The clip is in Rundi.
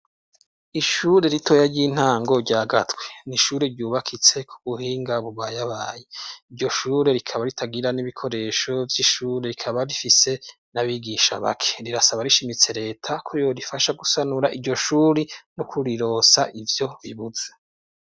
Ishure ritoya ry'intango rya Gatwe ni ishure ryubakitse ku buhinga bubayabaye. Iryo shure rikaba ritagira n'ibikoresho vy'ishure, rikaba rifise n'abigisha bake. Rirasaba rishimitse reta ko yorifasha gusanura iryo shure no kurironsa ivyo ribuze.